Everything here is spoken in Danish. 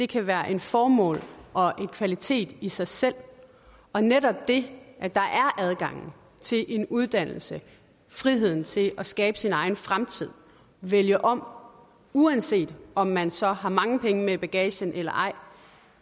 kan være et formål og en kvalitet i sig selv og netop det at der er adgangen til en uddannelse friheden til at skabe sin egen fremtid vælge om uanset om man så har mange penge med i bagagen eller ej